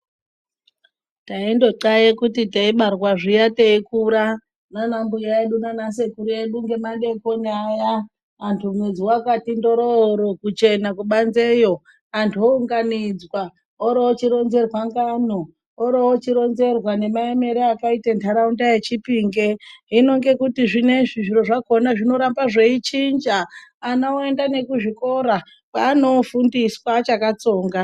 Taindonxlaye kuti teibarwa zviya teikura nanambuya edu nanasekuru ngemadeikoni aya antu mwedzi wakati ndororo kuchena kubanzi yo antu owunganidzwa oroochironzerwa ngano orochironzerwa nemaemere akaite nharaunda yechipinge hino ngekuti zvinoizvi zviro zvakona zvinoramba zveichinja ana oenda nekuzviikora kwaanofundiswa achakatsonga.